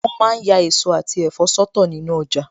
Wọn ma ń ya èso àti ẹ̀fọ́ sọ́tọ̀ nínu ọjà